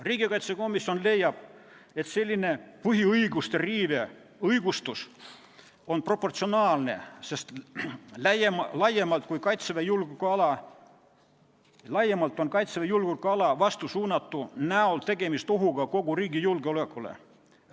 Riigikaitsekomisjon leiab, et selline põhiõiguste riive õigustus on proportsionaalne, sest laiemalt on Kaitseväe julgeolekuala vastu suunatud tegevus oht kogu riigi julgeolekule.